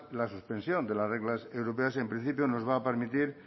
la suspensión de las reglas europeas en principio nos va a permitir